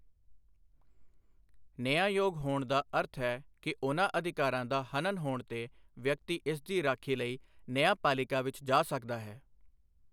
ਨਿਆਂਯੋਗ ਹੋਣ ਦਾ ਅਰਥ ਹੈ ਕਿ ਉਨ੍ਹਾਂ ਅਧਿਕਾਰਾਂ ਦਾ ਹਨਨ ਹੋਣ ਤੇ ਵਿਅਕਤੀ ਇਸ ਦੀ ਰਾਖੀ ਲਈ ਨਿਆਂਪਾਲਿਕਾ ਵਿੱਚ ਜਾ ਸਕਦਾ ਹੈ।